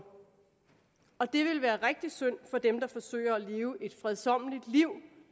og det ville være rigtig synd for dem der forsøger at leve et fredsommeligt liv